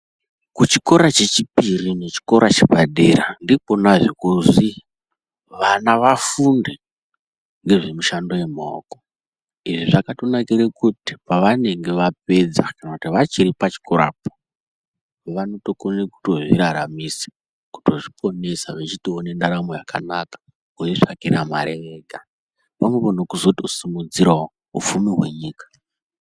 Kuchikora chechioiri nechikora chepadera ndikonazve kozi ana afunde ngezvemishando yemaoko, izvi zvakatonakire kuti pavanenge vapedza kana kuti vachiri pachikorapo vanotokone kutozviraranisa, kutozviponesa vechitoone ndaramo yakanaka kuzvitsvakira mari ega pamwepo nekuzotosimudzirawo upfumi hwenyika.